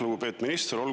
Lugupeetud minister!